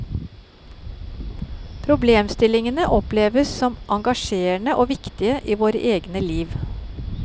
Problemstillingene oppleves som engasjerende og viktige i våre egne liv.